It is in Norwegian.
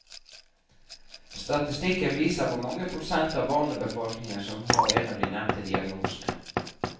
Statistikken viser hvor mange prosent av barnebefolkningen som har en av de nevnte diagnosene.